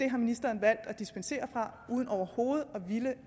har ministeren valgt at dispensere uden overhovedet at ville